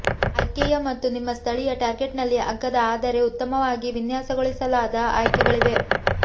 IKEA ಮತ್ತು ನಿಮ್ಮ ಸ್ಥಳೀಯ ಟಾರ್ಗೆಟ್ನಲ್ಲಿ ಅಗ್ಗದ ಆದರೆ ಉತ್ತಮವಾಗಿ ವಿನ್ಯಾಸಗೊಳಿಸಲಾದ ಆಯ್ಕೆಗಳಿವೆ